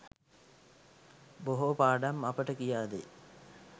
බොහෝ පාඩම් අපට කියාදෙයි